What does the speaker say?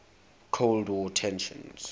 cold war tensions